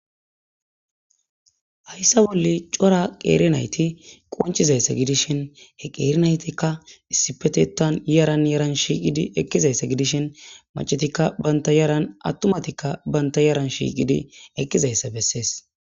Hayssa bolle cora qeerinayti qonchizaysse gidishin he qeerinaytikka issipetetan yiaran yeran shiiqidi ekkizaysse gidishin macetikka banta yaran attumatikka banta yaran shiiqidi ekkizayssa bessees.